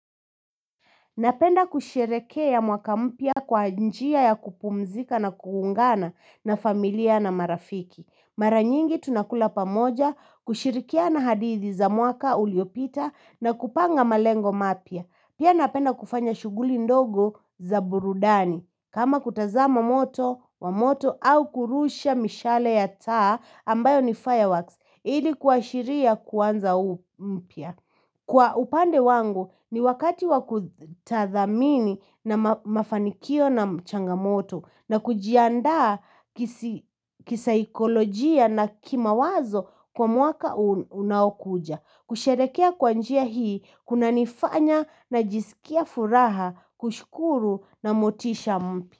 Napenda kushirehekea mwaka mpya kwa njia ya kupumzika na kuungana na familia na marafiki. Maranyingi tunakula pamoja kushirikiana hadithi za mwaka uliopita na kupanga malengo mapia. Pia napenda kufanya shuguli ndogo za burudani. Kama kutazama moto wa moto au kurusha mishale ya taa ambayo ni fireworks. Ili kuashiria kuanza mpya. Kwa upande wangu ni wakati wakutathamini na mafanikio na changamoto na kujiandaa kisaikolojia na kimawazo kwa mwaka unaokuja. Kusharehekea kwa njia hii kunanifanya najisikie furaha kushukuru na motisha mpya.